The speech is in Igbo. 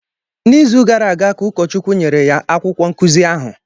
N’izu gara aga ka Ụkọchukwu nyere ya akwụkwọ nkuzi ahụ